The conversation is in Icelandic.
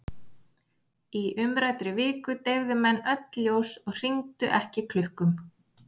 Í umræddri viku deyfðu menn öll ljós og hringdu ekki klukkum.